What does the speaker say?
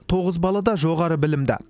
тоғыз бала да жоғары білімді